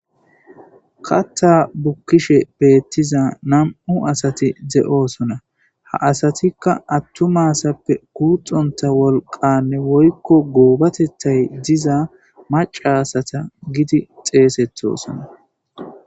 katta bukkishe beettiza nam7u asati de7osona ha asatikka attumasappe kuuxonta wolqanne woykko goobatethay diza maca asata gidi xeesettosona